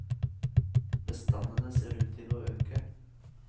Bestandene ser ut til å øke.